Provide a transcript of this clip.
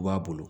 U b'a bolo